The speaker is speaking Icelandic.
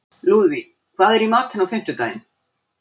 Lúðvíg, hvað er í matinn á fimmtudaginn?